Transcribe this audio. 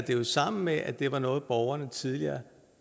sammen med at det var noget borgerne tidligere